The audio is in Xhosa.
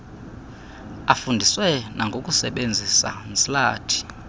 afundiswe nangokusebenzisa ntsilathi